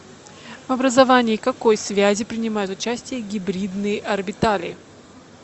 в образовании какой связи принимают участие гибридные орбитали